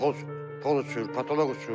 Toz toz uçur, pataloq uçur hamısı.